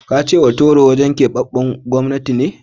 Ka ce Hotoro wurin keɓaɓɓen gwamnati ce?